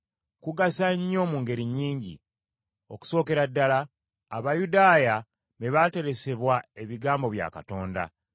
Kugasa nnyo mu ngeri nnyingi. Okusookera ddala, Abayudaaya be baateresebwa ebigambo bya Katonda.